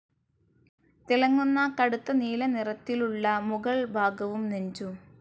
തിളങ്ങുന്ന കടുത്ത നീലനിറത്തിലുള്ളമുകൾ ഭാഗവും നെഞ്ചും.